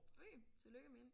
Okay tillykke med hende